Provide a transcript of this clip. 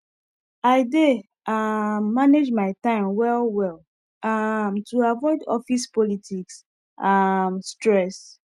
[] i dey um manage my time well well um to avoid office politics um stress